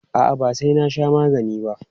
A'a, ba sai na sha magani ba.